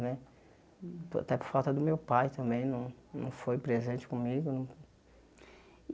Né até por falta do meu pai também, não não foi presente comigo não.